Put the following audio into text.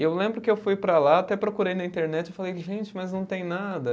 E eu lembro que eu fui para lá, até procurei na internet, e falei, gente, mas não tem nada.